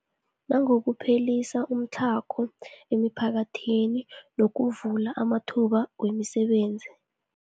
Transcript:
Nangokuphelisa umtlhago emiphakathini ngokuvula amathuba wemisebenzi.